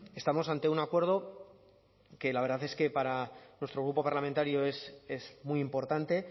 estamos ante un acuerdo que la verdad es que para nuestro grupo parlamentario es muy importante